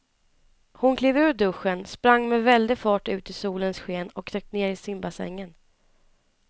Hon klev ur duschen, sprang med väldig fart ut i solens sken och dök ner i simbassängen.